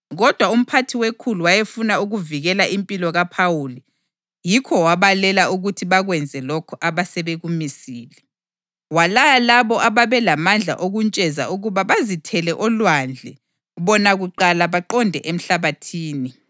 Kodwa umphathi wekhulu wayefuna ukuvikela impilo kaPhawuli, yikho wabalela ukuthi bakwenze lokho abasebekumisile. Walaya labo ababelamandla okuntsheza ukuba bazithele olwandle bona kuqala baqonde emhlabathini.